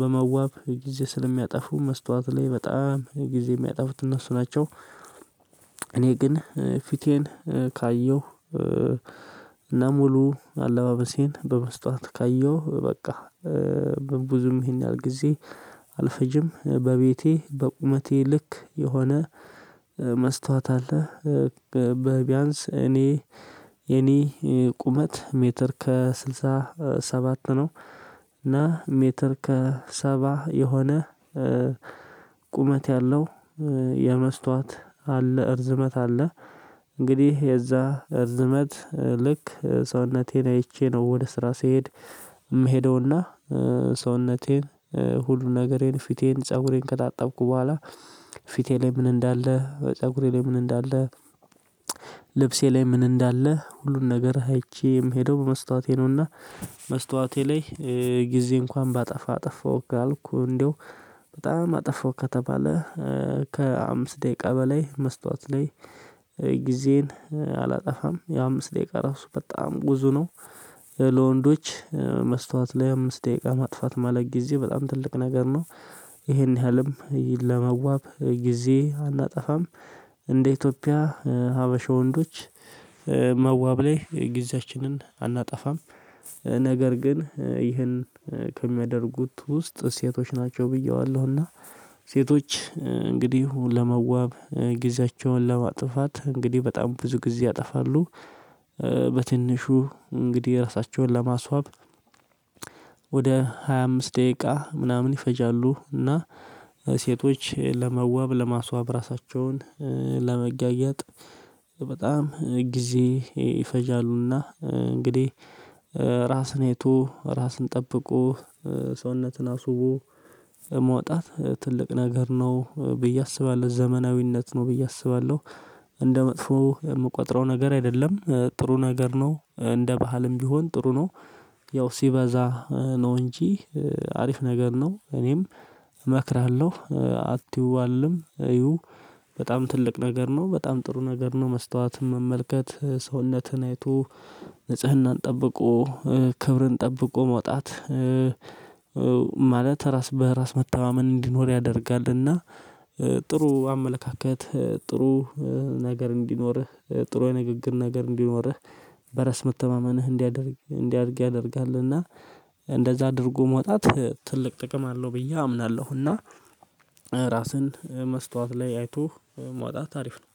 በመዋብ ጊዜ ስለሚያጠፉ መስታወት ላይ በጣም ጊዜ የሚያጠፉት እነሱ ናቸው። እኔ ግን ፊቴን ካየሁ እና ሙሉ አለባበሴን በመስታወት ካየሁ በቃ። ብዙም ይሄን ያህል ጊዜ አልፈጅም። በቤቴ በቁመቴ ልክ የሆነ መስታወት አለ። በ ቢያንስ እኔ የኔ ቁመት ሜትር ከስልሳ ሰባት ነው። እና ሜትር ከሰባ የሆነ ቁመት ያለው የመስታወት አለ ርዝመት አለ። እንግዲህ የዛ ርዝመት ልክ ሰውነቴን አይቼ ነው ወደ ስራ ስሄድ የምሄደውና ሰውነቴን ሁሉ ነገሬን ፊቴን ፀጉሬን ከታጠብኩ በኋላ ፊቴ ላይ ምን እንዳለ ፀጉሬ ላይ ምን እንዳለ ልብሴ ላይ ምን እንዳለ ሁሉን ነገር አይቼ የምሄደው በመስታወቴ ነውና። መስታወቴ ላይ ጊዜ እንኳን ባጠፋ አጠፋሁክ ካልኩኝ በጣም አጠፋው ከተባለ ከአምስት ደቂቃ በላይ መስታወት ላይ ጊዜን አላጠፋም የአምስት ደቂቃ ራሱ በጣም ብዞ ነው። ለወንዶች መስታወት ላይ አምስት ደቂቃ ማጥፋት ማለት ጊዜ በጣም ትልቅ ነገር ነው። ይሄን ያህልም ለመዋብ ጊዜ አናጠፋም እንደ ኢትዮጵያ ሀበሻ ወንዶች መዋብ ላይ ጊዜያችንን አናጠፋም። ነገር ግን ይህን ከሚያደርጉት ውስጥ ሴቶች ናቸው ብየዋለሁ እና ሴቶች እንግዲህ ለመዋብ ጊዜያቸውን ለማጥፋት እንግዲህ በጣም ብዙ ጊዜ ያጠፋሉ። በትንሹ እንግዲህ ራሳቸውን ለማስዋብ ወደ ሃያ አምስት ደቂቃ ምናምን ይፈጃሉ። እና ሴቶች ለመዋብ ለማስዋብ ራሳቸውን ለመገኘት በጣም ጊዜ ይፈጃሉና እንግዲህ። ራስን አይቶ ራስን ጠብቆ ሰውነትን አስውቦ መውጣት ትልቅ ነገር ነው ብዬ አስባለሁ ዘመናዊነት ነው ብዬ አስባለሁ። እንደ መጥፎ የምቆጥረው ነገር አይደለም ጥሩ ነገር ነው እንደ ባህልም ቢሆን ጥሩ ነው። ያው ሲበዛ ነው እንጂ አሪፍ ነገር ነው። እኔም እመክራለሁ አትዩ አልልም እዩ በጣም ትልቅ ነገር ነው በጣም ጥሩ ነገር ነው። መስታወት መመልከት ሰውነትህን አይቶ ንጽህናን ጠብቆ ክብርን ጠብቆ መውጣት ማለት ራስ በራስ መተማመን እንዲኖር ያደርጋልና። ጥሩ አመለካከት ጥሩ ነገር እንዲኖርህ ጥሩ ንግግር ነገር እንዲኖርህ በራስ መተማመንህ እንዲያድግ እንዲያድግ ያደርጋልና። እንደዛ አድርጎ መውጣት ትልቅ ጥቅም አለው ብዬ አምናለሁ። እና ራስን መስታወት ላይ አይቶ ማውጣት አሪፍ ነው።